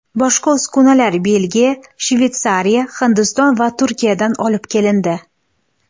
Boshqa uskunalar Belgiya, Shveysariya, Hindiston va Turkiyadan olib kelindi.